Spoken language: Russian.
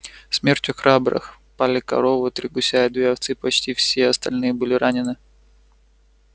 смертью храбрых пали корова три гуся и две овцы почти все остальные были ранены